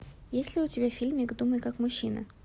есть ли у тебя фильмик думай как мужчина